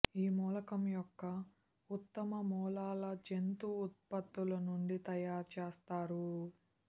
ఈ మూలకం యొక్క ఉత్తమ మూలాల జంతు ఉత్పత్తులు నుండి తయారు చేస్తారు